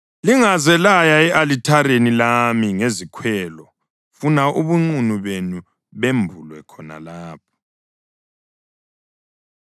Lingaze laya e-alithareni lami ngezikhwelo funa ubunqunu benu bembulwe khona lapho.’ ”